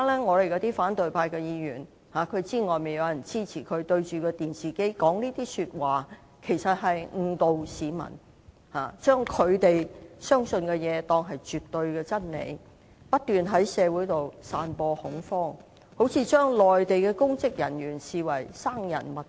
我們的反對派議員知道現時外面有人支持他們，但他們面對着電視機的發言，其實是誤導市民，把他們相信的東西當作是絕對的真理，不斷在社會上散播恐慌，把內地公職人員視為生人勿近。